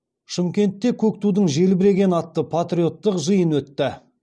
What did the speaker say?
шымкентте көк тудың желбірегені атты патриоттық жиын өтті